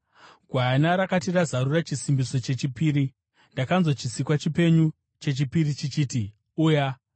Gwayana rakati razarura chisimbiso chechipiri, ndakanzwa chisikwa chipenyu chechipiri chichiti, “Uya!”